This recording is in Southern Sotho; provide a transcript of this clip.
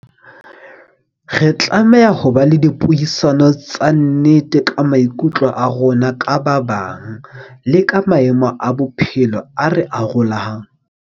Re tlameha ho ba le dipuisano tsa nnete ka maikutlo a rona ka ba bang, le ka maemo a bophelo a re arolang.